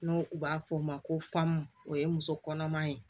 N'o u b'a fɔ o ma ko famu o ye muso kɔnɔma ye